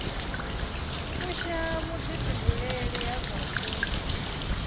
fusha vhuḓifhinduleli ha zwa vhupo